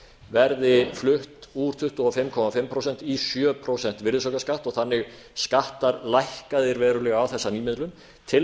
verði flutt úr tuttugu og fimm og hálft prósent í sjö prósenta virðisaukaskatt og þannig skattar lækkaðir verulega á þessa nýmiðlun til